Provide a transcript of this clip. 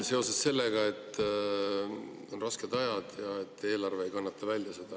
… seoses sellega, et on rasked ajad ja eelarve ei kannata seda välja.